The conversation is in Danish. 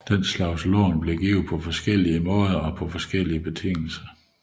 Sådanne lån blev givet på forskellige måder og på forskellige betingelser